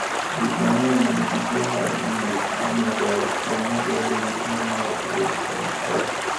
Ji mang’eny ma nigi tuwo mar ng’ut ma medore, bang’e bedo gi tuwo mar ALS.